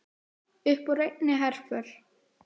Þetta er hægfara gerjun.